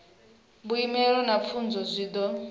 vhuimo na fomo zwi do